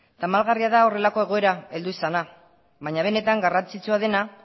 tamalgarria da horrelako egoera heldu izana baina benetan garrantzitsua dena